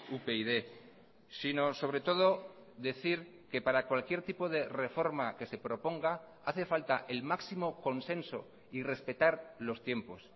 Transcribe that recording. upyd sino sobre todo decir que para cualquier tipo de reforma que se proponga hace falta el máximo consenso y respetar los tiempos